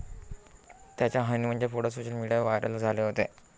त्याच्या हनीमूनचे photo social मीडियावर व्हायरल झाले होते.